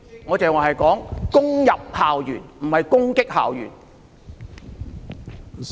我剛才說攻入校園，而不是說攻擊校園。